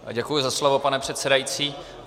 Děkuji za slovo, pane předsedající.